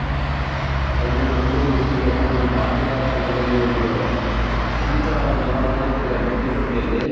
ಯಾಕಂದ್ರೆ ನಮಗೂ ಮೆಚ್ಹುಗೆ ಯಾಕಂದ್ರೆ ನಮ್ ಭಾರತ ತಂಡದಲ್ಲಿ ಒಬ್ರು ಈ ತರ ಒಂದ್ number one ಆಗ್ತಿದಾರೆ ಅಂದ್ರೆ T twenty ಅಲ್ಲಿ.